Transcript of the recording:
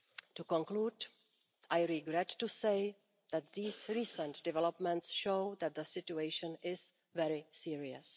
To conclude, I regret to say that these recent developments show that the situation is very serious.